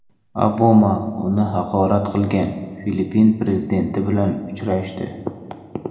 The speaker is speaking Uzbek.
Obama uni haqorat qilgan Filippin prezidenti bilan uchrashdi.